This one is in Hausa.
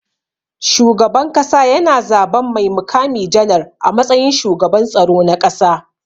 Shugaban kasa yana zaban mai mukami janar a matsayin shugaban tsaro na ƙasa.